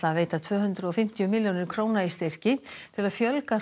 að veita tvö hundruð og fimmtíu milljónir króna í styrki til að fjölga